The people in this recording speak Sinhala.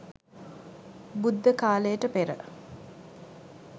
බුද්ධ කාලයට පෙර